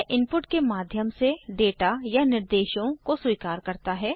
यह इनपुट के माध्यम से डेटा या निर्देशों को स्वीकार करता है